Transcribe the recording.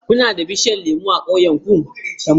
Kuna da bishiyun lemu a ƙauyenku?